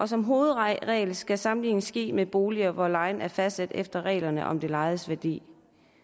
som hovedregel skal sammenligningen ske med boliger hvor lejen er fastsat efter reglerne om det lejedes værdi